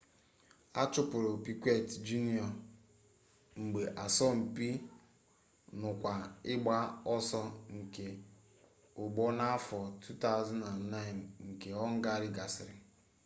achụpụrụ piquet jr mgbe asọmpi nnukwu ịgba ọsọ nke ụgbọ n'afọ 2009 nke họngarị gasịrị